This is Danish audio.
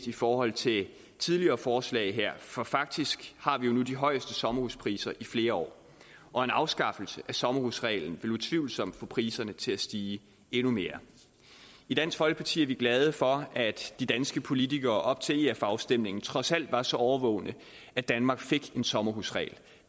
i forhold til tidligere forslag for faktisk har vi jo nu de højeste sommerhuspriser i flere år og en afskaffelse af sommerhusreglen vil utvivlsomt få priserne til at stige endnu mere i dansk folkeparti er vi glade for at de danske politikere op til ef afstemningen trods alt var så årvågne at danmark fik en sommerhusregel